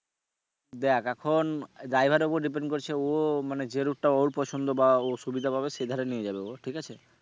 দেখ এখন driver এর উপর depend করছে ও মানে যে রূটটা ওর পছন্দ বা ও সুবিধা পাবে সেভাবে নিয়ে যাবে ও ঠিক আছে?